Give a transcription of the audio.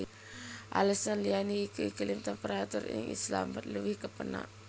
Alesan liyané iku iklim temperatur ing Islamabad luwih kepénak